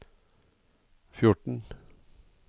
fjorten